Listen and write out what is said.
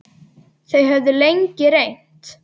Þau höfðu lengi reynt.